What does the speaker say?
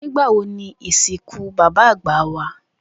Nigbawo ni isinku baba agba wa?